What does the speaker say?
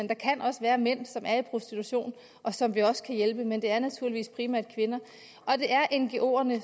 kan også være mænd som er i prostitution og som vi også kan hjælpe men det er naturligvis primært kvinder og det er ngoerne